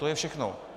To je všechno.